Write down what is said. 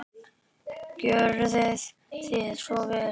Gjörið þið svo vel.